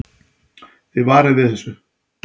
Þið varið við þessu?